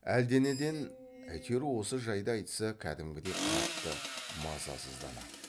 әлденеден әйтеуір осы жайды айтса кәдімгідей қатты мазасызданады